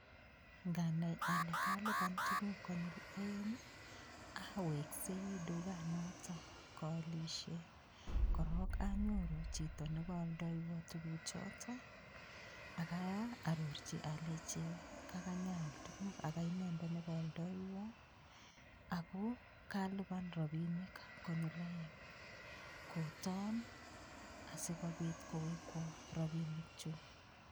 Nganai ole kalipa tukuk konyil oeng aweksei dukanotok kaaliohke korok anyoru chito nekaoldaiwa tukuchotok akaarchi alechi kakayaal tukuk ako kainendet nekaoldaiywa, kotoon asikobit kowekwa rapinikchu.